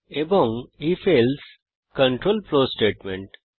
এবং ifএলসে control flow statement